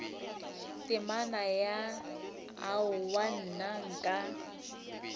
temana ya aowa nna nka